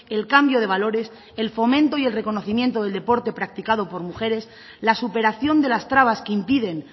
el cambio de valores el fomento y el reconocimiento del deporte practicado por mujeres la superación de las trabas que impiden